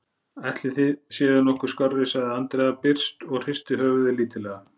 Ætlið þið séuð nokkuð skárri, sagði Andrea byrst og hristi höfuðið lítillega.